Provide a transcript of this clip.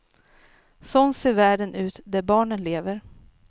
Sån ser världen ut där barnen lever.